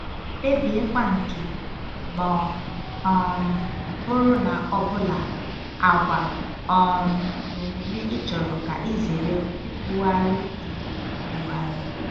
Kpebiekwa nke, ma ọ um bụrụ na ọ bụla, àgwà um na omume ị chọrọ ka ị zere ikwugharị zere ikwugharị.